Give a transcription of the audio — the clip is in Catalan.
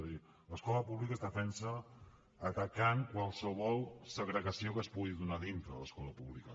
és a dir l’escola pública es defensa atacant qualsevol segregació que es pugui donar dintre de l’escola pública